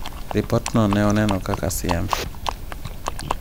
Ripotno ne oneno kaka siem.